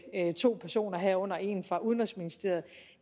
to personer herunder en fra udenrigsministeriet